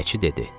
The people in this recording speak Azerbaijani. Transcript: Pinəçi dedi.